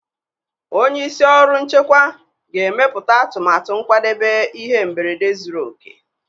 Onye isi ndị ọrụ nchekwa ga-emepụta atụmatụ nkwadebe ihe mberede zuru oke.